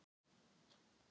Hæfir stöðu hans.